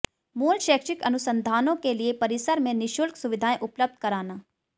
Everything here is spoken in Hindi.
मूल शैक्षिक अनुसंधानों के लिए परिसर में निशुल्क सुविधाएं उपलब्ध कराना